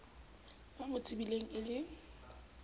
ba mo tsebileng e le